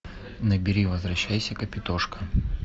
набери возвращайся капитошка